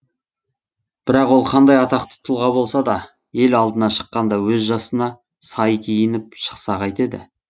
бірақ ол қандай атақты тұлға болса да ел алдына шыққанда өз жасына сай киініп шықса қайтеді